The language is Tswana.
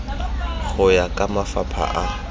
go ya ka mafapha a